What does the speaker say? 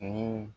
Ni